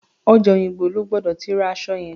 Ọjà Òyìngbò lo gbọ́dọ̀ ti ra aṣọ yẹn.